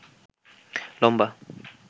লম্বা